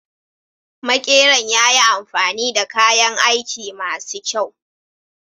Makeran ya yi amfani da kayan aiki ma su kyau.